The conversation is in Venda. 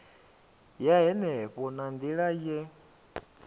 ya henefho na nila ye